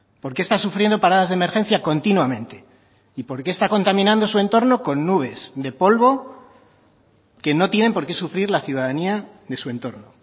por qué está sufriendo paradas de emergencia continuamente y por qué está contaminando su entorno con nubes de polvo que no tienen porque sufrir la ciudadanía de su entorno